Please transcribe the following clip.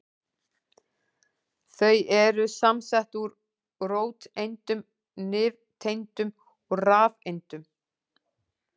Þau eru samsett úr róteindum, nifteindum og rafeindum.